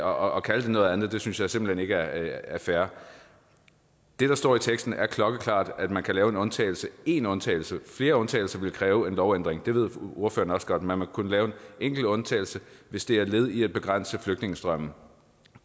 og at kalde det noget andet synes jeg simpelt hen ikke er fair det der står i teksten er klokkeklart at man kan lave én undtagelse én undtagelse flere undtagelser vil kræve en lovændring og det ved ordføreren også godt men man vil kunne lave en enkelt undtagelse hvis det er et led i at begrænse flygtningestrømmen